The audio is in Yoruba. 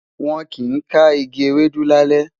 wón kí n ká ìgi Ewédú lalẹ